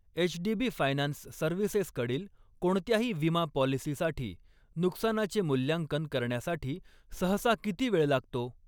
HDB finance services कडील कोणत्याही विमा पॉलिसीसाठी नुकसानाचे मूल्यांकन करण्यासाठी सहसा किती वेळ लागतो?